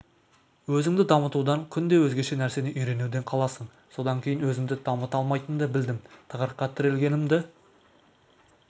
өзіңді дамытудан күнде өзгеше нәрсені үйренуден қаласың содан кейін өзімді дамыта алмайтынымды білдім тығырыққа тірелгенімді